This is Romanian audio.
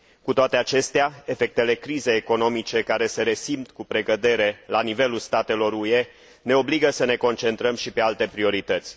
Cu toate acestea, efectele crizei economice, care se resimt cu precădere la nivelul statelor UE, ne obligă să ne concentrăm și pe alte priorități.